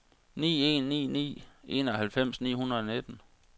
ni en ni ni enoghalvfems ni hundrede og nitten